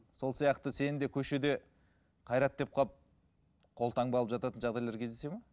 сол сияқты сені де көшеде қайрат деп қалып қолтаңба алып жататын жағдайлар кездеседі ме